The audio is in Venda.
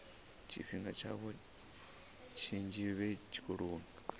tshifhinga tshavho tshinzhi vhe tshikoloni